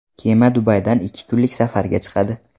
Kema Dubaydan ikki kunlik safarga chiqadi.